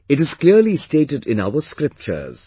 It is clearly stated in our scriptures